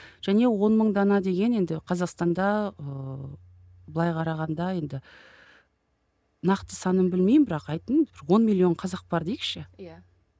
және он мың дана деген енді қазақстанда ыыы былай қарағанда енді нақты санын білмеймін бірақ айттым бір он миллион қазақ бар дейікші иә